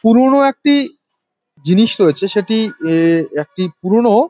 পুরোনো একটি জিনিস রয়েছে সেটি এ একটি পুরোনো--